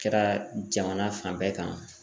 Kɛra jamana fan bɛɛ kan